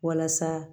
Walasa